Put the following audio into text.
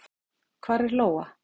Hvar er Lóa?